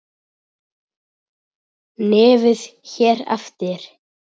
Nefnd hér eftir